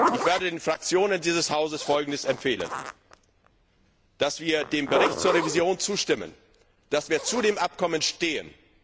Ich werde den Fraktionen dieses Hauses empfehlen, dass wir dem Bericht zur Revision zustimmen, dass wir zu dem Abkommen stehen.